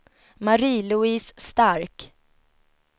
Marie-Louise Stark